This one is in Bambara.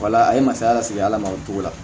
Wala a ye masaya lase ala ma o togo la